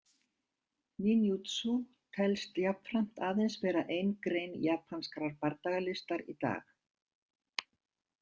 Ninjutsu telst jafnframt aðeins vera ein grein japanskrar bardagalistar í dag.